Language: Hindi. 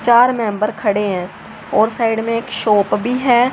चार मेम्बर खडे है और साइड मे एक शॉप भी है।